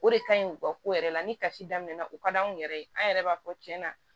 O de ka ɲi u ka ko yɛrɛ la ni kasi damina u ka d'anw yɛrɛ ye an yɛrɛ b'a fɔ cɛn na